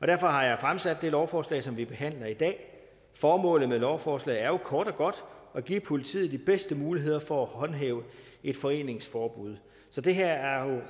derfor har jeg fremsat det lovforslag som vi behandler i dag formålet med lovforslaget er jo kort og godt at give politiet de bedste muligheder for at håndhæve et foreningsforbud så det her er